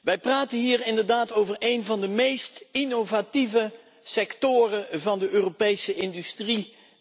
Wij praten hier inderdaad over één van de meest innovatieve sectoren van de Europese industrie